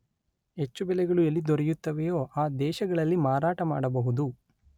ಹೆಚ್ಚು ಬೆಲೆಗಳು ಎಲ್ಲಿ ದೊರೆಯುತ್ತವೆಯೋ ಆ ದೇಶಗಳಲ್ಲಿ ಮಾರಾಟ ಮಾಡಬಹುದು